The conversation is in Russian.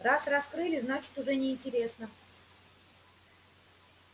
раз раскрыли значит уже неинтересно